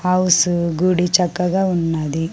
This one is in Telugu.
హౌస్ గుడి చక్కగా ఉన్నది .